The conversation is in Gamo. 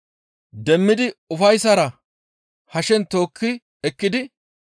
Demmidi ufayssara hashen tookki ekkidi,